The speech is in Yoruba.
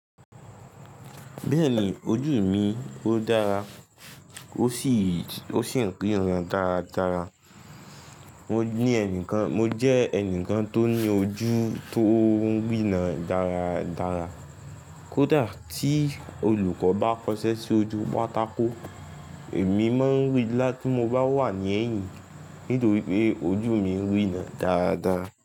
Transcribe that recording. Bẹ́ẹ̀ni ojú mi ó dára ó sì, ó sì ń ríran dáradára. Mo ní ẹnìkan, mo jẹ́ ẹnìkan tó ní ojú tó ń rína dáradára. Kódà tí olùkọ́ bá kọṣẹ́ sí ojú pátákó, èmi máa ń rí i láti mo bá wà ní ẹ̀yìn nítorí pé ojú mi ń rína dáradára.